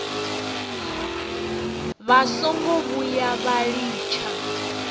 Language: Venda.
vha songo vhuya vha litsha